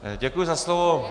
Děkuji za slovo.